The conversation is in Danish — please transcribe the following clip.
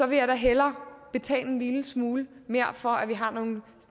vil jeg da hellere betale en lille smule mere for at vi har nogle